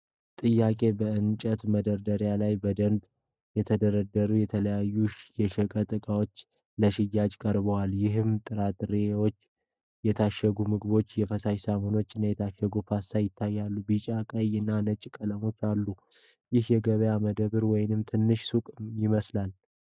ጥያቄ፡ በእንጨት መደርደሪያዎች ላይ በደንብ የተደረደሩ የተለያዩ የሸቀጣሸቀጥ እቃዎች ለሽያጭ ቀርበዋል፤ ይህም ጥራጥሬዎች፣ የታሸጉ ምግቦች፣ የፈሳሽ ሳሙናዎች እና የታሸገ ፓስታ ያካትታል። ቢጫ፣ ቀይ እና ነጭ ቀለሞች አሉ። ይህ የገበያ መደብር ወይም ትንሽ ሱቅ ይመስላል?